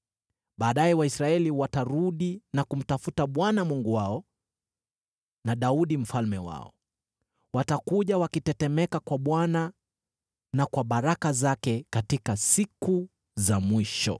Baadaye Waisraeli watarudi na kumtafuta Bwana Mungu wao na Daudi mfalme wao. Watakuja wakitetemeka kwa Bwana na kwa baraka zake katika siku za mwisho.